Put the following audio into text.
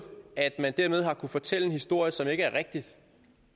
at man dermed har kunnet fortælle en historie som ikke er rigtig